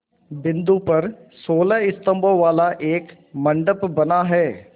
बिंदु पर सोलह स्तंभों वाला एक मंडप बना है